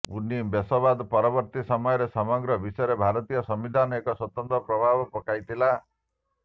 ଉନିବେଶବାଦ ପରବର୍ତ୍ତୀ ସମୟରେ ସମଗ୍ର ବିଶ୍ୱରେ ଭାରତୀୟ ସମ୍ବିଧାନ ଏକ ସ୍ୱତନ୍ତ୍ର ପ୍ରଭାବ ପକାଇଥିଲା